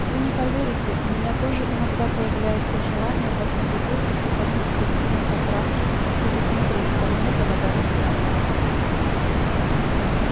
вы не поверите у меня тоже иногда появляется желание в одну бутылку сыпануть крысиной потравки и посмотреть кому эта вода достанется